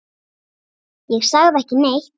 Ég sagði ekki neitt.